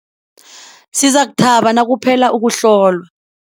Sizakuthaba nakuphela ukuhlolwa.